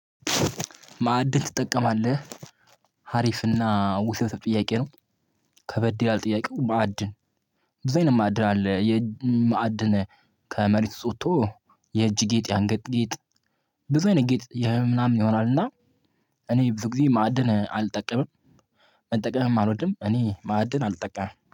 ማዕድን ትጠቀማለህ? ሀሪፍና ውሰት ጥያቄ ነው። ከበድ ያለ ጥያቄ ማዕድን ብዙ አይነት ማዕድን አለ። የማዕድን ከመሬት ውስጥ ወጥቶ የእጅ ጌጥ፣ ያንገጥጌጥ ጌጥ ብዙ አይነት ጌጥ ምናምን ይሆናልና እኔ ብዙ ጊዜ ማዕድን አልጠቀምም። መጠቀምም አልወድም። እኔ ማዕድን አልጠቀመም።